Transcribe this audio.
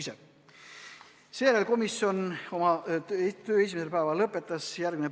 Sellega komisjon oma töö esimesel päeval lõpetas.